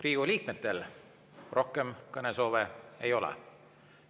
Riigikogu liikmetel rohkem kõnesoove ei ole.